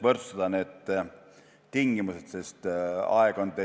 Need tingimused tuleb võrdsustada.